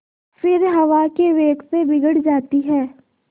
फिर हवा के वेग से बिगड़ जाती हैं